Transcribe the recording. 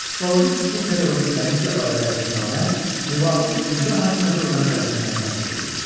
Psixoloji-tibbi-pedaqoji komissiya barədə əsasnamə müvafiq icra hakimiyyəti orqanı tərəfindən təsdiq edilir.